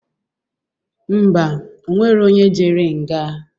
Ḿbà, onwero onye jere nga